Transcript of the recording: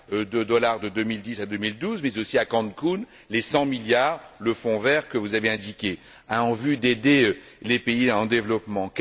de dollars de 2010 à 2012, mais aussi à Cancún, les 100 milliards, le fonds vert dont vous avez parlé en vue d'aider les pays en développement?